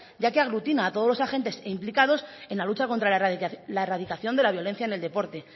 ya que aglutina a todos los agentes implicados en la lucha contra la erradicación de la violencia en el deporte